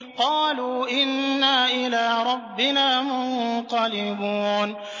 قَالُوا إِنَّا إِلَىٰ رَبِّنَا مُنقَلِبُونَ